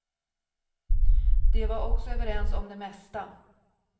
De var också överens om det mesta.